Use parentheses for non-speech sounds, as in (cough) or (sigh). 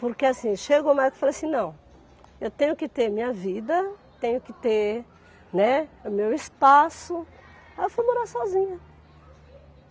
Porque assim, chegou (unintelligible) que eu falei assim, não, eu tenho que ter minha vida, tenho que ter, né, o meu espaço, aí eu fui morar sozinha.